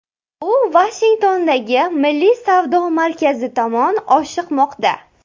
U Vashingtondagi Milliy savdo markazi tomon oshiqmoqda.